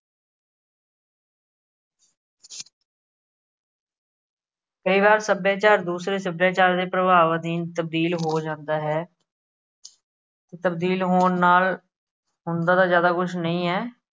ਕਈ ਵਾਰ ਸੱਭਿਆਚਾਰ ਦੂਸਰੇ ਸੱਭਿਆਚਾਰ ਦੇ ਪ੍ਰਵਾਬ ਅਧੀਨ ਤਬਦੀਲ ਹੋ ਜਾਂਦਾ ਹੈ। ਤਬਦੀਲ ਹੋਣ ਨਾਲ ਹੁੰਦਾ ਤਾਂ ਜ਼ਿਆਦਾ ਕੁਛ ਨਹੀਂ ਐ।